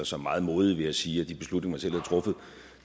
som meget modig ved at sige at de beslutninger man selv havde truffet